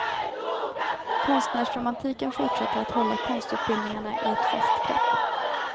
Konstnärsromantiken fortsätter att hålla konstutbildningarna i ett fast grepp.